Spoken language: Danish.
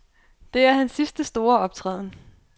Det er hans sidste store optræden.